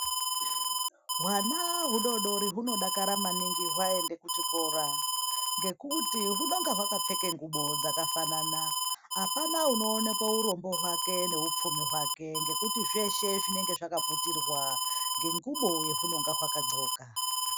Hwana hudodori hunodakara maningi hwaende kuchikora ngekuti hunonga hwakapfeka ngubo dzakafanana, apana unoonekwa hurombo hwake neupfumi hwake ngekuti zveshe zvinenge zvakaputirwa ngengubo yehunenge hwakadxoka.